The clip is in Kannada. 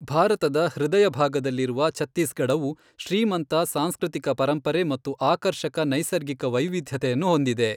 ಭಾರತದ ಹೃದಯಭಾಗದಲ್ಲಿರುವ ಛತ್ತೀಸ್ಗಢವು ಶ್ರೀಮಂತ ಸಾಂಸ್ಕೃತಿಕ ಪರಂಪರೆ ಮತ್ತು ಆಕರ್ಷಕ ನೈಸರ್ಗಿಕ ವೈವಿಧ್ಯತೆಯನ್ನು ಹೊಂದಿದೆ.